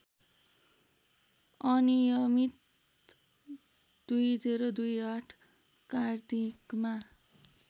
अनियमित २०२८ कार्तिकमा